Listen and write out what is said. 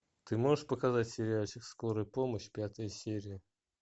ты можешь показать сериальчик скорая помощь пятая серия